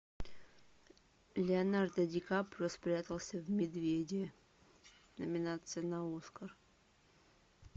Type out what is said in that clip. леонардо ди каприо спрятался в медведе номинация на оскар